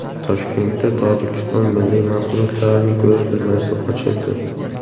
Toshkentda Tojikiston milliy mahsulotlarining ko‘rgazmasi ochildi .